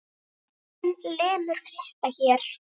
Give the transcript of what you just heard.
Sjórinn lemur kletta hér.